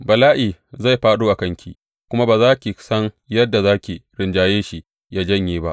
Bala’i zai fāɗo a kanki, kuma ba za ki san yadda za ki rinjaye shi yă janye ba.